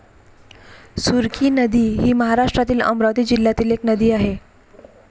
सुरखी नदी हि महाराष्ट्रातील अमरावती जिल्ह्यातील एक नदी आहे.